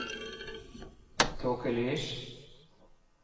tåkelys